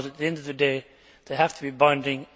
At the end of the day, they have to be binding.